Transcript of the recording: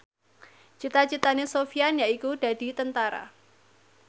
cita citane Sofyan yaiku dadi Tentara